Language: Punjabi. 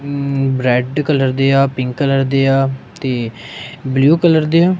ਅਮ ਬਰੈਡ ਕਲਰ ਦੇ ਆ ਪਿੰਕ ਕਲਰ ਦੇ ਆ ਤੇ ਬਲੂ ਕਲਰ ਦੇ ਆ।